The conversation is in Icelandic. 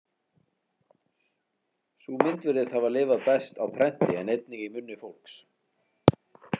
Sú mynd virðist hafa lifað best á prenti en einnig í munni fólks.